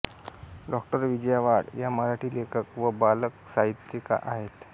डॉ विजया वाड या मराठी लेखक व बालसाहित्यिका आहेत